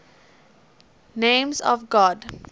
names of god